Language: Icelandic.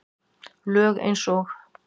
Lög eins og